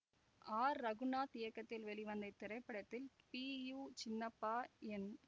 R Raghunath இயக்கத்தில் வெளிவந்த இத்திரைப்படத்தில் பி யு சின்னப்பா என்